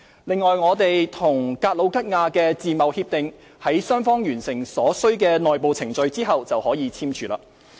另外，我們與格魯吉亞的自貿協定於雙方完成所需的內部程序後便可簽署。